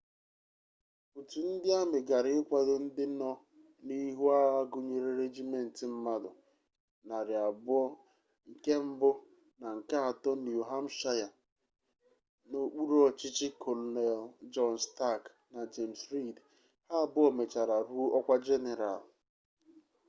otu ndị amị gara ikwado ndị nọ n'ihu agha gụnyere regiment mmadụ 200 nke mbụ na nke atọ niu hampshire n'okpuru ọchịchị kolonel jọn stak na jems riid ha abụọ mechara ruo ọkwa jeneral